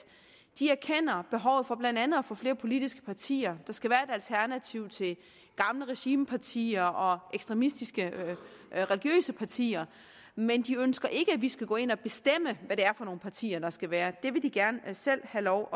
de erkender behovet for blandt andet at få flere politiske partier der skal være et alternativ til gamle regimepartier og ekstremistiske religiøse partier men de ønsker ikke at vi skal gå ind at bestemme hvad det er for nogle partier der skal være det vil de gerne selv have lov